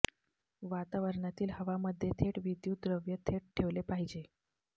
वातावरणातील हवामध्ये थेट विद्युतीय द्रव्य थेट ठेवले पाहिजे